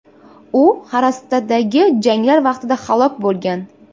U Xarastadagi janglar vaqtida halok bo‘lgan.